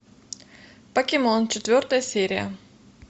покемон четвертая серия